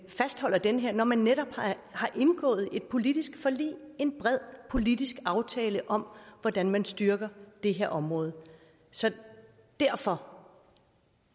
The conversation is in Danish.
fastholder det her når man netop har indgået et politisk forlig en bred politisk aftale om hvordan man styrker det her område så derfor